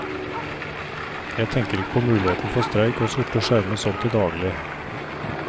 Jeg tenker ikke på muligheten for streik og sorte skjermer sånn til daglig.